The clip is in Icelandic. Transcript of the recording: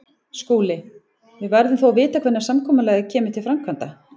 SKÚLI: Við verðum þó að vita hvenær samkomulagið kemur til framkvæmda.